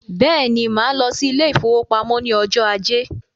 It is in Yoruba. Bẹ́ẹ̀ni, máa lọ sí ile-ìfowópamó ní ọjọ ajé